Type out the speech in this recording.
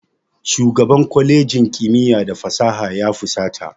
Shugaban kwalejin kimiyya da fasaha ya fusata.